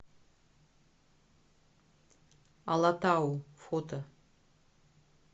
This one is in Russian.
алатау фото